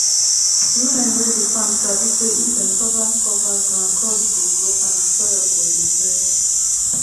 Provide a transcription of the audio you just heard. women wey dey farm sabi say if dem cover cover ground crops go grow fine and soil go dey fresh